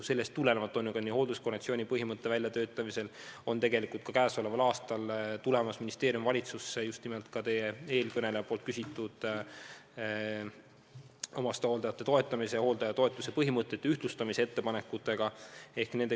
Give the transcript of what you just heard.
Sellest tulenevalt esitab ministeerium hoolduskonventsiooni põhimõtet välja töötades käesoleval aastal valitsusele omastehooldajate toetamise, hooldajatoetuse põhimõtete ühtlustamise ettepaneku, mille kohta ka eelmine küsija küsis.